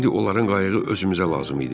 İndi onların qayığı özümüzə lazım idi.